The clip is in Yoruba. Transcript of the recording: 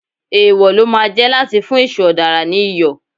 Èwò ló máa jẹ́ láti fún èṣù ọ̀dàrà ní Iyọ̀.